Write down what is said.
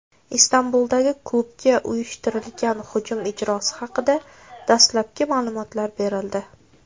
Istanbuldagi klubga uyushtirilgan hujum ijrochisi haqida dastlabki ma’lumotlar berildi.